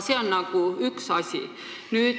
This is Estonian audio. See on üks asi.